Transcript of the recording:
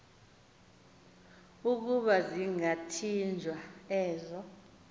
ukuba zingathinjwa ezo